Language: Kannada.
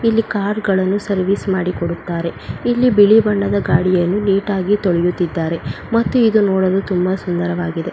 ಇಲ್ಲಿ ಕಾರ್ಗಳನ್ನು ಸರ್ವಿಸ್ ಮಾಡಿಕೊಡುತ್ತಾರೆ ಇಲ್ಲಿ ಬಿಳಿ ಬಣ್ಣದ ಗಾಡಿಯನ್ನು ನೀಟಾಗಿ ತೊಳೆಯುತಿದ್ದಾರೆ ಮತ್ತಿದು ನೋಡಲು ತುಂಬ ಸುಂದರವಾಗಿದೆ.